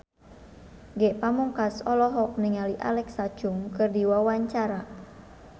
Ge Pamungkas olohok ningali Alexa Chung keur diwawancara